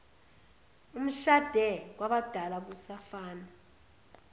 umshade kwabadala usafana